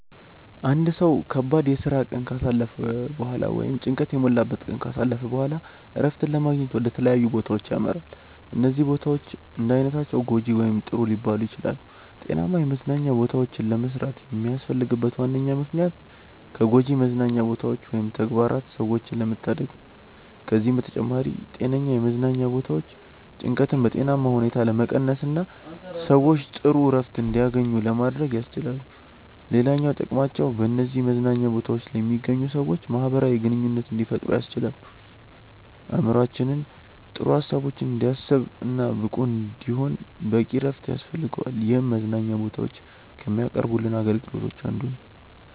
አንድ ሰው ከባድ የስራ ቀን ካሳለፈ በኋላ ወይም ጭንቀት የሞላበትን ቀን ካሳለፈ በኋላ እረፍትን ለማግኘት ወደ ተለያዩ ቦታዎች ያመራል። እነዚህ ቦታዎች እንዳይነታቸው ጐጂ ወይም ጥሩ ሊባሉ ይችላሉ። ጤናማ የመዝናኛ ቦታዎችን ለመስራት የሚያስፈልግበት ዋነኛ ምክንያት ከጎጂ መዝናኛ ቦታዎች ወይም ተግባራት ሰዎችን ለመታደግ ነው። ከዚህም በተጨማሪ ጤነኛ የመዝናኛ ቦታዎች ጭንቀትን በጤናማ ሁኔታ ለመቀነስና ሰዎች ጥሩ እረፍት እንዲያገኙ ለማድረግ ያስችላሉ። ሌላኛው ጥቅማቸው በነዚህ መዝናኛ ቦታዎች ላይ የሚገኙ ሰዎች ማህበራዊ ግንኙነት እንዲፈጥሩ ያስችላል። አእምሮአችን ጥሩ ሀሳቦችን እንዲያስብ እና ብቁ እንዲሆን በቂ እረፍት ያስፈልገዋል ይህም መዝናኛ ቦታዎች ከሚያቀርቡልን አገልግሎቶች አንዱ ነው።